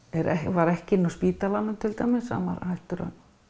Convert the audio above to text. var ekki inni á spítalanum hann var hættur að